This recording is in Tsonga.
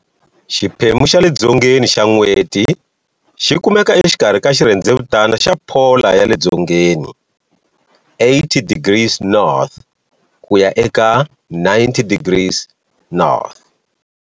Xiphemu xa le dzongeni xa N'weti xi kumeka exikarhi ka xirhendzevutana xa polar ya le dzongeni, 80 degrees N ku ya eka 90 degrees N.